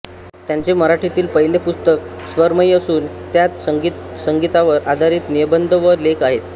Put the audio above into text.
त्यांचे मराठीतील पहिले पुस्तक स्वरमयी असून त्यात संगीतावर आधारित निबंध व लेख आहेत